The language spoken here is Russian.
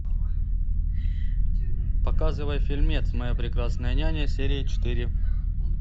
показывай фильмец моя прекрасная няня серия четыре